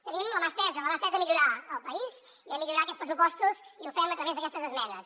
tenim la mà estesa la mà estesa a millorar el país i a millorar aquests pressupostos i ho fem a través d’aquestes esmenes